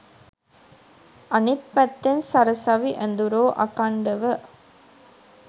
අනිත් පැත්තෙන් සරසවි ඇදුරෝ අඛණ්ඩව